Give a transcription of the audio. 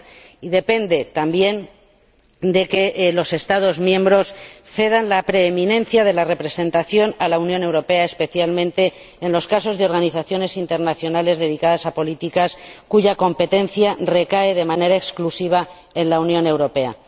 y depende también de que los Estados miembros cedan la preeminencia de la representación a la Unión Europea, especialmente en los casos de organizaciones internacionales dedicadas a políticas cuya competencia recae de manera exclusiva en la Unión Europea.